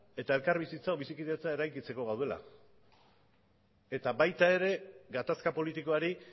eta elkar bizikidetza eraikitzeko gaudela eta baita ere gatazka politikoari